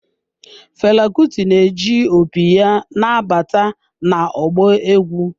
Fela Kuti na-eji opi ya na-abata na ọgbọ egwu.